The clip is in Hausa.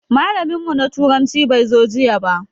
Malamin mu na turanci bai zo jiya ba.